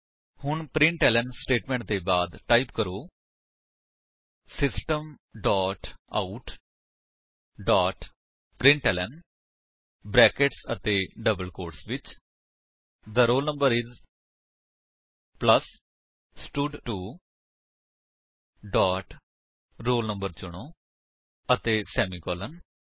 ਹੁਣ println statement ਦੇ ਬਾਅਦ ਟਾਈਪ ਕਰੋ system dot out dot println brackets ਅਤੇ ਡਬਲ ਕੋਟਸ ਵਿੱਚ the roll number is plus ਸਟਡ2 ਡੋਟ roll no ਚੁਣੋ ਅਤੇ ਸੇਮੀਕਾਲਨ